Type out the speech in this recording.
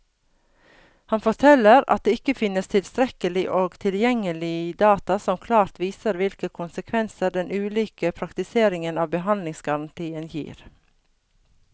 Han forteller at det ikke finnes tilstrekkelig og tilgjengelig data som klart viser hvilke konsekvenser den ulike praktiseringen av behandlingsgarantien gir.